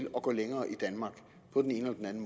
at gå længere i danmark på den ene eller den